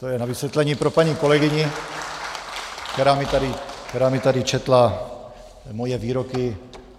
To je na vysvětlení pro paní kolegyni, která mi tady četla moje výroky.